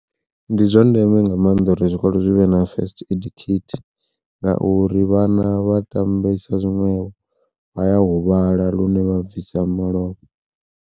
Ndi zwa ndeme nga maanḓa uri zwikolo zwivhe na first aid kit ngauri vhana vha tambisa zwiṅwevho, vha ya huvhala lune vha bvisa malofha.